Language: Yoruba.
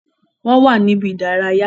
Wọn wà ní ibi-idaraya